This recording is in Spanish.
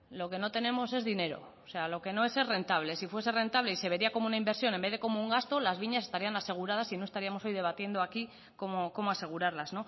lo que no tenemos es dinero o sea lo que no es rentable si fuese rentable y se vería como una inversión en vez de cómo un gasto las viñas estarían aseguradas y no estaríamos hoy debatiendo aquí cómo asegurarlas